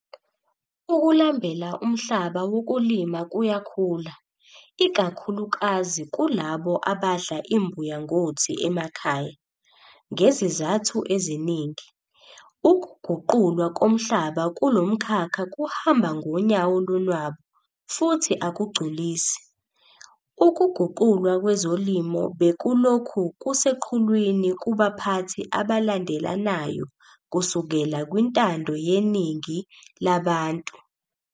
Ukulambela umhlaba wokulima kuyakhula, ikakhulukazi kulabo abadla imbuya ngothi emakhaya. Ngezizathu eziningi, ukuguqulwa komhlaba kulomkhakha kuhamba ngonyawo lonwabu futhi akugculisi. Ukuguqulwa kwezolimo bekulokhu kuseqhulwini kubaphathi abalandelanayo kusukela kwintando yeningi labantu.